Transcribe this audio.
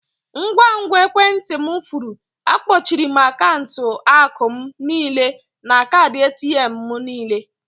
Ngwa ngwa ekwentị m furu, akpọchiere m akaụntụ akụ m niile na kaadị ATM m nile.